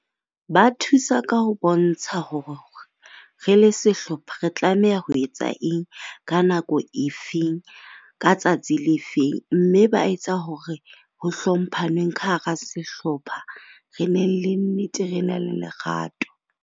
Ba thusa ka ho bontsha hore re le sehlopha re tlameha ho etsa eng, ka nako efeng, ka tsatsi le feng. Mme ba etsa hore hlomphaneng ka hara sehlopha. Re nneng le nnete re ne le lerato.